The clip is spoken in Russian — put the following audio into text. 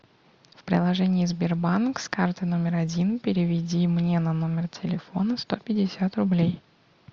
в приложении сбербанк с карты номер один переведи мне на номер телефона сто пятьдесят рублей